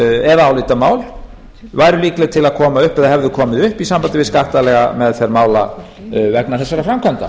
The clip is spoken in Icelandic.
eða álitamál væru líkleg til að koma upp eða hefðu komið upp í sambandi við skattalega meðferð mála vegna þessara framkvæmda